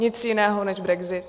Nic jiného než brexit.